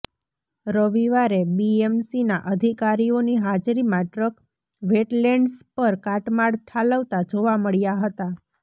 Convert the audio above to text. રવિવારે બીએમસીના અધિકારીઓની હાજરીમાં ટ્રક વેટલેન્ડ્સ પર કાટમાળ ઠાલવતા જોવા મળ્યા હતા